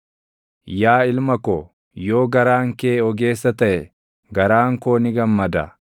Yaa ilma ko, yoo garaan kee ogeessa taʼe, garaan koo ni gammada;